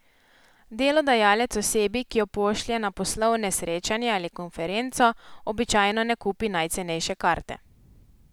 Delodajalec osebi, ki jo pošlje na poslovne srečanje ali konferenco, običajno ne kupi najcenejše karte.